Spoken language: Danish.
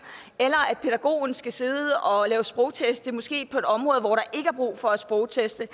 eller at pædagogen skal sidde og lave sprogtest måske på et område hvor der ikke er brug for at sprogteste